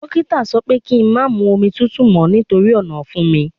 Dókítà ni kí n má máa mu omi tútù mọ́ nítorí ọ̀nàfun mi